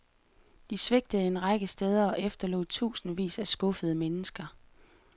De svigtede en række steder og efterlod tusindvis af skuffede mennesker.